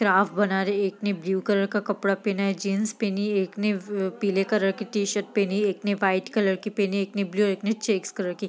craft बना रहे | एक ने ब्लू कलर का कपडा पहना है जीन्स पहनी है एक ने व अ पीले कलर की टी-शर्ट पहनी है एक ने वाइट कलर की पहनी है एक ने ब्लू एक ने चेक्स कलर की |